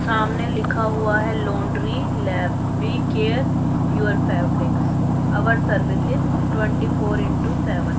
सामने लिखा हुआ है laundry leave care your fabrics our services twenty four into seven.